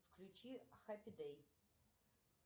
включи хэппи дэй